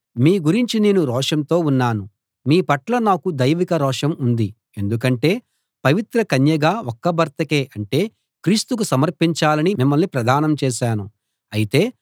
మీ గురించి నేను రోషంతో ఉన్నాను మీ పట్ల నాకు దైవిక రోషం ఉంది ఎందుకంటే పవిత్ర కన్యగా ఒక్క భర్తకే అంటే క్రీస్తుకు సమర్పించాలని మిమ్మల్ని ప్రదానం చేశాను అయితే